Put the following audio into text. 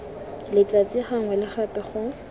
letsatsi gangwe le gape go